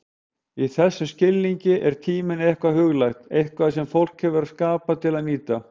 Í þessum skilningi er tíminn eitthvað huglægt, eitthvað sem fólk hefur skapað til að nýta.